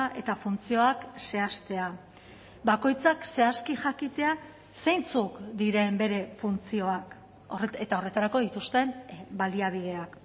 eta funtzioak zehaztea bakoitzak zehazki jakitea zeintzuk diren bere funtzioak eta horretarako dituzten baliabideak